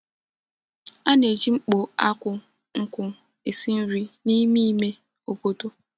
A na-eji mkpó ákụ̀ nkwụ̀ esi nri n’ime ime obodo.